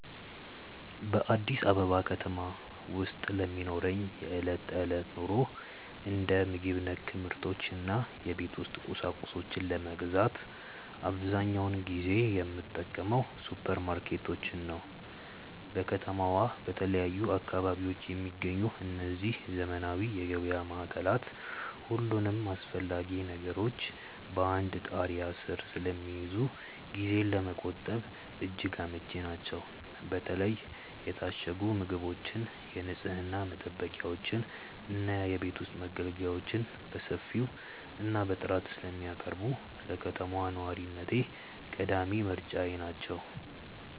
በአዲስ አበባ ከተማ ውስጥ ለሚኖረኝ የዕለት ተዕለት ኑሮ፣ እንደ ምግብ ነክ ምርቶች እና የቤት ውስጥ ቁሳቁሶችን ለመግዛት አብዛኛውን ጊዜ የምጠቀመው ሱፐርማርኬቶችን ነው። በከተማዋ በተለያዩ አካባቢዎች የሚገኙት እነዚህ ዘመናዊ የገበያ ማዕከላት፣ ሁሉንም አስፈላጊ ነገሮች በአንድ ጣሪያ ስር ስለሚይዙ ጊዜን ለመቆጠብ እጅግ አመቺ ናቸው። በተለይ የታሸጉ ምግቦችን፣ የንፅህና መጠበቂያዎችን እና የቤት ውስጥ መገልገያዎችን በሰፊው እና በጥራት ስለሚያቀርቡ፣ ለከተማ ነዋሪነቴ ቀዳሚ ምርጫዬ ናቸው።